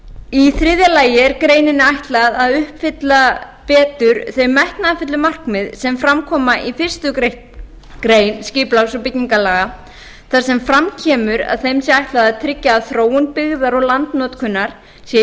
í þriðja lagi er greininni ætlað að uppfylla betur þau metnaðarfullu markmið sem fram koma í fyrstu grein skipulags og byggingarlaga þar sem fram kemur að þeim sé ætlað að tryggja að þróun byggðar og landnotkunar sé í